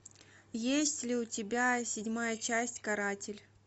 есть ли у тебя седьмая часть каратель